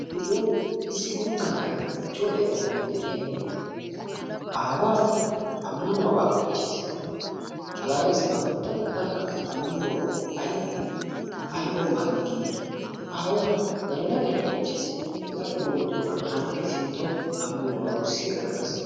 Nu sooni issi guuttaa na'ay ichchawu laytta na'iy de'iyagee aawaa ammanuwaabaa oychchees. Malaalees ha guttattettanikka ammanuwabbay aybee aybawu maadi giidi aawa galla galla oychchees. Hegaappe doomiddogaan ha na'ay sinttawu ammanuwabaa wurssi eranawu dees.